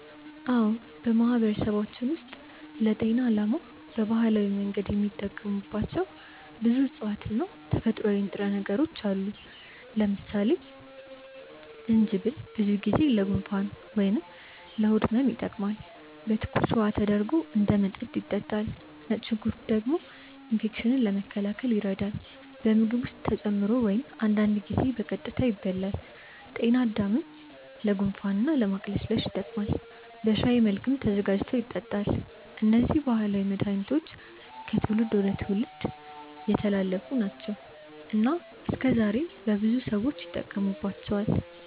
አዎ፣ በማህበረሰባችን ውስጥ ለጤና ዓላማ በባህላዊ መንገድ የሚጠቀሙባቸው ብዙ እፅዋት እና ተፈጥሯዊ ንጥረ ነገሮች አሉ። ለምሳሌ ጅንጅብል ብዙ ጊዜ ለጉንፋን ወይም ለሆድ ህመም ይጠቀማል፤ በትኩስ ውሃ ተደርጎ እንደ መጠጥ ይጠጣል። ነጭ ሽንኩርት ደግሞ ኢንፌክሽንን ለመከላከል ይረዳል፣ በምግብ ውስጥ ተጨምሮ ወይም አንዳንድ ጊዜ ቀጥታ ይበላል። ጤናድምም ለጉንፋን እና ለማቅለሽለሽ ይጠቀማል፤ በሻይ መልክም ተዘጋጅቶ ይጠጣል። እነዚህ ባህላዊ መድሃኒቶች ከትውልድ ወደ ትውልድ የተላለፉ ናቸው እና እስከዛሬም በብዙ ሰዎች ይጠቀሙባቸዋል።